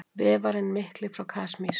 Vefarinn mikli frá Kasmír.